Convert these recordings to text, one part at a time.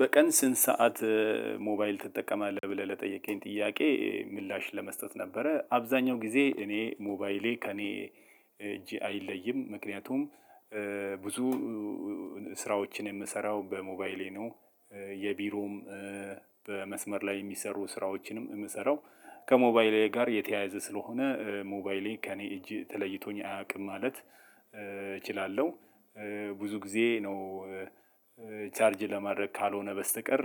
በቀን ስንት ሰዓት ሞባይል ትጠቀማለህ? ብለህ ለጠየከን ጥያቄ ምላሽ ለመስጠት ነበረ አብዛኛው ጊዜ እኔ ሞባይሌ ከእኔ አይለይም ምክንያቱም ብዙ ስራዎችን የምሰራው በሞባይሌ ነው። የቢሮም በመስመር ላይ የሚሰሩ ስራዎችንም የምሰራው ከሞባይሌ ጋር የተያያዘ ስለሆነ ሞባይሌ ከእኔ እጅ ተለይቶኝ አያውቅም ማለት እችላለሁ። ብዙ ጊዜ ነው ቻርጅ ለማድረግ ካልሆነ በስተቀር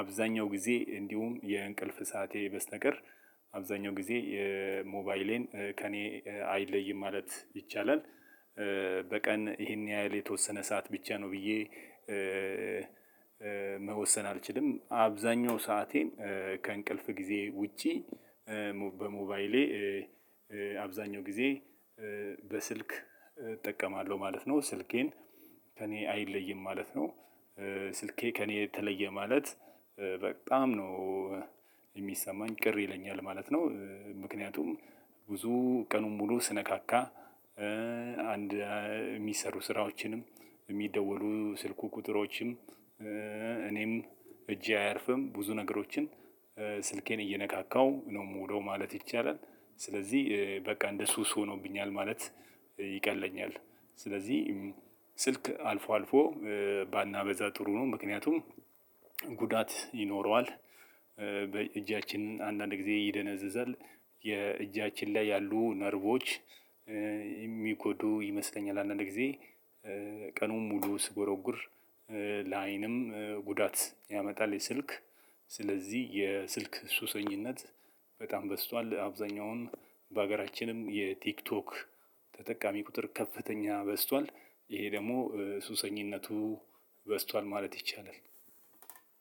አብዛኛው ጊዜ እንዲሁም የእንቅልፍ ሰዓቴ በስተቀር አብዛኛው ጊዜ የሞባይሌን ከእኔ አይለይም ማለት ይቻላል። በቀን ይሄን ያህል የተወሰነ ሰዓት ብቻ ነው ብዬ መወሰን አልችልም። አብዛኛው ሰአቴን ከእንቅልፍ ጊዜ ውጪ በሞባይሌ አብዛኛው ጊዜ በስልክ እጠቀማለሁ ማለት ነው። ስልኬን ከእኔ አይለይም ማለት ነው። ስልኬ ከእኔ የተለየ ማለት በጣም ነው የሚሰማኝ ቅር ይለኛል ማለት ነው። ምክንያቱም ብዙ ቀኑን ሙሉ ስነካካ አንድ የሚሰሩ ስራዎችንም የሚደወሉ ስልኩ ቁጥሮችም እኔም እጄ አያርፍም ብዙ ነገሮችን ስልኬን እየነካካው ነው የምውለው ማለት ይቻላል። ስለዚህ በቃ እንደ ሱስ ሆኖብኛል ማለት ይቀለኛል። ስለዚህ ስልክ አልፎ አልፎ ባናበዛ ጥሩ ነው። ምክንያቱም ጉዳት ይኖረዋል። እጃችን አንዳንድ ጊዜ ይደነዝዛል የእጃችን ላይ ያሉ ነርቮች የሚጎዱ ይመስለኛል። አንዳንድ ጊዜ ቀኑን ሙሉ ስጎረጉር ለአይንም ጉዳት ያመጣል። የስልክ ስለዚህ የስልክ ሱሰኝነት በጣም በዝቷል። አብዛኛውን በሀገራችንም የቲክቶክ ተጠቃሚ ቁጥር ከፍተኛ በዝቷል። ይሄ ደግሞ ሱሰኝነቱ በዝቷል ማለት ይቻላል።